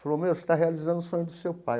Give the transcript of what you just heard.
Falou, meu, você está realizando o sonho do seu pai.